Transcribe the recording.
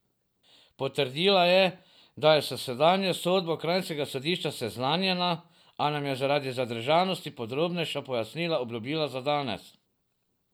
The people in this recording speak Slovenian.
Potrdila je, da je s zadnjo sodbo kranjskega sodišča seznanjena, a nam je zaradi zadržanosti podrobnejša pojasnila obljubila za danes.